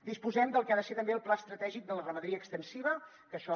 disposem del que ha de ser també el pla estratègic de la ramaderia extensiva que això